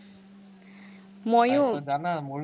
জানা মোৰ